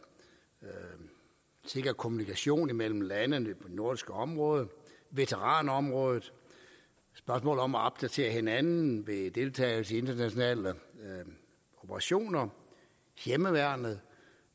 sikker kommunikation mellem landene i det nordiske område veteranområdet spørgsmål om at opdatere hinanden ved deltagelse i internationale operationer hjemmeværnet